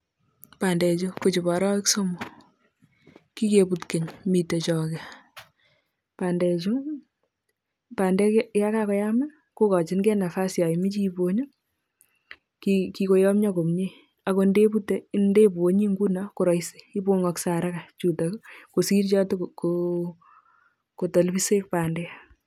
Bandechu ko chobo arawek somok, kikebut keny mitei choge bandechu bandek ya kakoyam kokochingei nafas ya imoche ibony kikoyomnyo komie akot ndebute ndebonyi nguno ko rahisi ibongoshei haraka chutok ii kosir chatakotalbisek bandek.